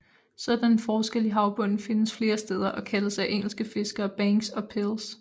Sådanne forskelle i havbunden findes flere steder og kaldes af engelske fiskere banks og pils